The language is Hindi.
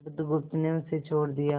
बुधगुप्त ने उसे छोड़ दिया